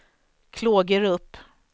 Klågerup